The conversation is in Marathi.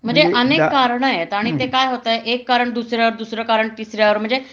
म्हणजे अनेक कारण आहेत म्हणजे ते काय होतंय एक कारण दुसऱ्यावर दुसरं कारण तिसऱ्यावर म्हणजे